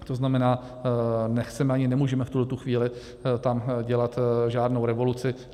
To znamená, nechceme ani nemůžeme v tuhle chvíli tam dělat žádnou revoluci.